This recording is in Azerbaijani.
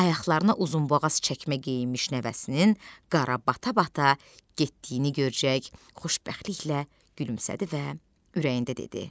Ayaqlarına uzunboğaz çəkmə geyinmiş nəvəsinin qara bata-bata getdiyini görəcək xoşbəxtliklə gülümsədi və ürəyində dedi: